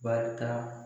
Barita